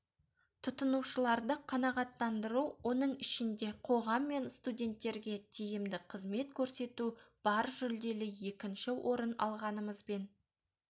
тұтынушыларды қанағаттандыру оның ішінде қоғам мен студенттерге тиімді қызмет көрсету бар жүлделі екінші орын алғанымызбен